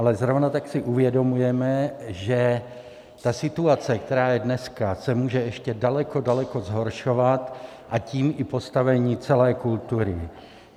Ale zrovna tak si uvědomujeme, že ta situace, která je dneska, se může ještě daleko, daleko zhoršovat, a tím i postavení celé kultury.